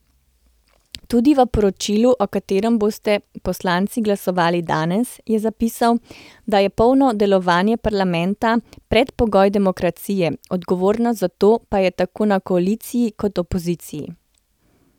Tudi v poročilu, o katerem bodo poslanci glasovali danes, je zapisal, da je polno delovanje parlamenta predpogoj demokracije, odgovornost za to pa je tako na koaliciji kot opoziciji.